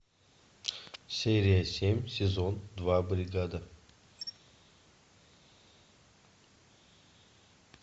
серия семь сезон два бригада